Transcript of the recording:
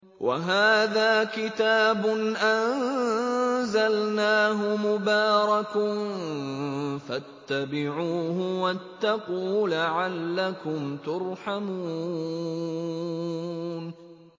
وَهَٰذَا كِتَابٌ أَنزَلْنَاهُ مُبَارَكٌ فَاتَّبِعُوهُ وَاتَّقُوا لَعَلَّكُمْ تُرْحَمُونَ